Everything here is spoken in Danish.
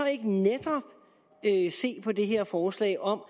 ikke netop se på det her forslag om